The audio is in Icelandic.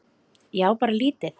Ég á bara lítið.